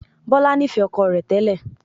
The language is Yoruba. Bọlá nifẹ ọkọ rẹ tẹ́lẹ̀